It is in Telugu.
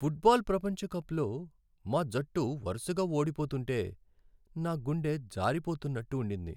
ఫుట్బాల్ ప్రపంచకప్‌లో మా జట్టు వరసగా ఓడిపోతుంటే నా గుండె జారిపోతున్నట్టు ఉండింది.